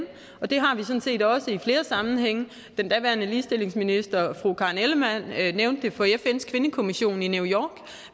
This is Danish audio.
og det har vi sådan set også gjort i flere sammenhænge daværende ligestillingsminister karen ellemann nævnte det for fns kvindekommission i new york